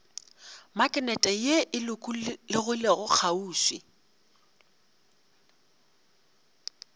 maknete ye e lokologilego kgauswi